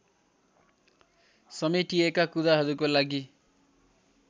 समेटिएका कुराहरूको लागि